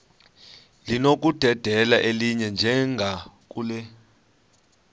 linokudedela elinye njengakule